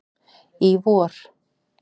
í vor.